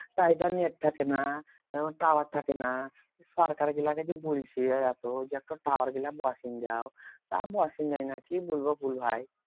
তাই এইটা net থাকেনা তারপর tower থাকে না সরকার গুলোকে যে বলছি এত যে একটা tower গুলা বসিন দাও তা বসিন দেয় না কি কি বলবো বল ভাই